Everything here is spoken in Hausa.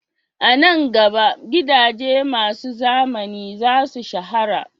A nan gaba, gidaje masu zamani za su shahara